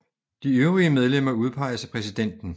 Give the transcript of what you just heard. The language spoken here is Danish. De øvrige medlemmer udpeges af præsidenten